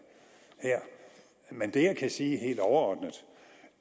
her men det jeg kan sige helt overordnet